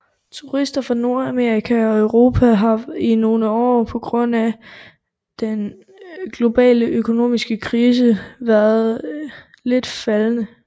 Turister fra Nordamerika og Europa har i nogle år på grund af den globale økonomiske krise været lidt faldende